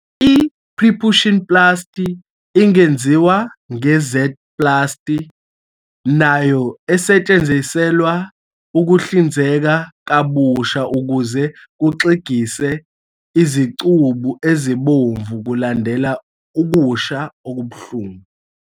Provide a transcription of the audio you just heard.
I-Preputioplasty ingenziwa nge- Z-plasty, nayo esetshenziselwa ukuhlinzeka kabusha ukuze kuxegise izicubu ezibomvu kulandela ukusha okubuhlungu.